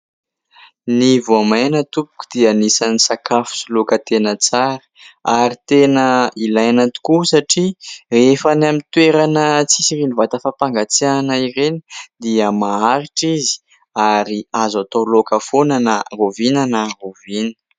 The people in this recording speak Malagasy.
Ny voamaina tompoko dia anisany sakafo sy loaka tena tsara ary tena ilaina tokoa satria rehefa ny amin'ny toerana tsisy vata fampangatsiahana ireny dia maharitra izy ary azo atao laoka foana na rahoviana na rahoviana.